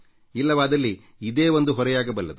ಇಲ್ಲವಾದಲ್ಲಿ ಇದೇ ಒಂದು ಹೊರೆಯಾಗಬಲ್ಲದು